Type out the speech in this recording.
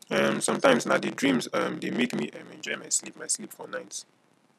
um sometimes na di dreams um dey make me um enjoy my sleep my sleep for night